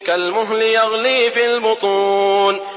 كَالْمُهْلِ يَغْلِي فِي الْبُطُونِ